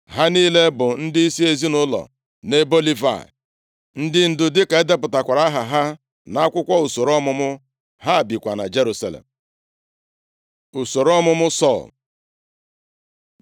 Ha niile bụ ndịisi ezinaụlọ nʼebo Livayị. Ndị ndu dịka e depụtakwara aha ha nʼakwụkwọ usoro ọmụmụ. Ha bikwa na Jerusalem. Usoro ọmụmụ Sọl